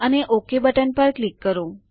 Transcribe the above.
અને OK button પર click કરો